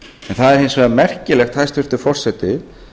það er hins vegar merkilegt hæstvirtur forseti